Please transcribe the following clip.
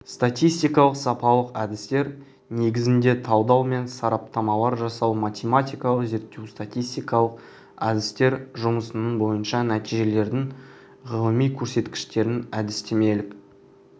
статистикалық-сапалық әдістер негізінде талдау мен сараптамалар жасау математикалық зерттеу статистикалық әдістер жұмысының бойынша нәтижелердің ғылыми көрсеткіштерін әдістемелік